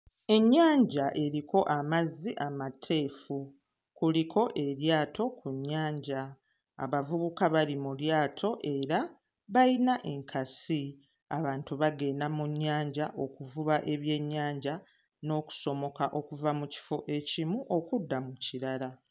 Ennyanja eriko amazzi amateefu. Kuliko eryato ku nnyanja. Abavubuka bali mu lyato era bayina enkasi. Abantu bagenda mu nnyanja okuvuba ebyennyanja n'okusomoka okuva mu kifo ekimu okudda mu kirala.